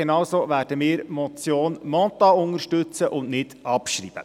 Genauso werden wir die Motion Mentha unterstützen und nicht abschreiben.